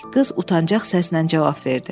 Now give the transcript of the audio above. Qız utancaq səslə cavab verdi.